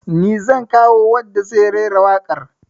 Ni zan kawo wanda zai rera waƙar